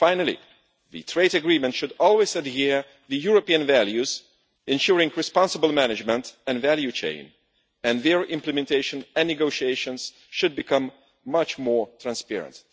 Finally, the trade agreement should always adhere to the European values, ensuring responsible management and value chain, and their implementation and negotiations should become much more transparent.